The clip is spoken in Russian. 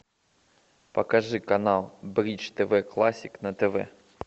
покажи канал бридж тв классик на тв